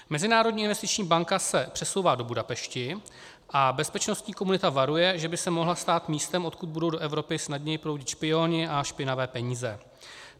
Mezinárodní investiční banka se přesouvá do Budapešti a bezpečnostní komunita varuje, že by se mohla stát místem, odkud budou do Evropy snadněji proudit špioni a špinavé peníze.